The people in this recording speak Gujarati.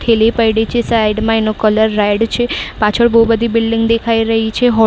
થેલી પૈડી છે સાઈડ માં એનો કલર રેડ છે. પાછળ બહુ બધી બિલ્ડીંગ દેખાઈ રહી છે. હો--